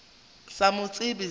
sa mo tsebe o sa